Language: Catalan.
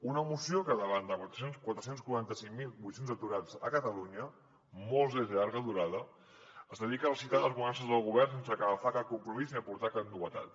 una moció que davant de quatre cents i quaranta cinc mil vuit cents aturats a catalunya molts ells de llarga durada es dedica a recitar les bonances del govern sense agafar cap compromís ni aportar cap novetat